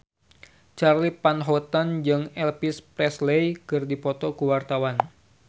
Charly Van Houten jeung Elvis Presley keur dipoto ku wartawan